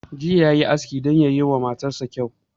Jiya yayi aski don yayi wa matan sa kyau